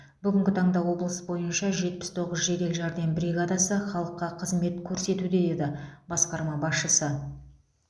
бүгінгі таңда облыс бойынша жетпіс тоғыз жедел жәрдем бригадасы халыққа қызмет көрсетуде деді басқарма басшысы